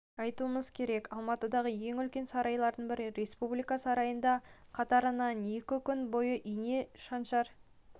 айтуымыз керек алматыдағы ең үлкен сарайлардың бірі республика сарайында қатарынан екі күн бойы ине шаншар